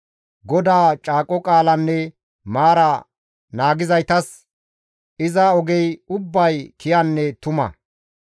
GODAA caaqo qaalanne maara naagizaytas iza ogey ubbay kiyanne tuma.